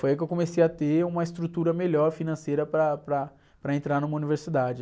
Foi aí que eu comecei a ter uma estrutura melhor financeira para, para, para entrar numa universidade.